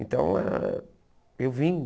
Então, ah eu vim,